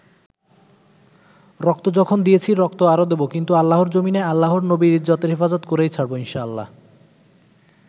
রক্ত যখন দিয়েছি, রক্ত আরো দেবো, কিন্তু আল্লাহর জমিনে আল্লাহর নবীর ইজ্জতের হেফাজত করেই ছাড়বো ইনশাল্লাহ।